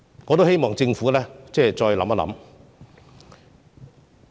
我希望政府再考慮我們的意見。